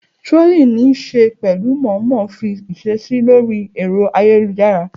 Trolling ní í ṣe pẹ̀lú mọ̀ọ́mọ̀ fa ìṣesí lórí ẹ̀rọ ayélujára.